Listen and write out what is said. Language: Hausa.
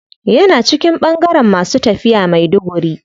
Yana cikin bangaren masu tafiya maiduguri.